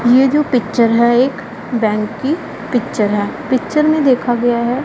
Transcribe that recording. ये जो पिक्चर है एक बैंक की पिक्चर है पिक्चर में देखा गया है --